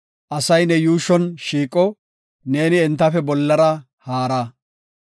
Asay ne yuushon shiiqo; neeni entafe bollara haara.